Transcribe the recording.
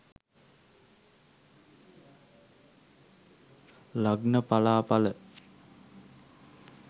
lagna pala pala